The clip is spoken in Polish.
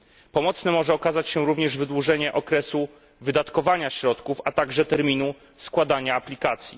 Pomocne może okazać się również wydłużenie okresu wydatkowania środków, a także terminu składania aplikacji.